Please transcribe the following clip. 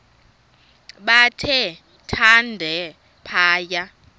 bathe thande phaya